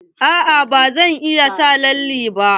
A'a ba zan sa lalle ba.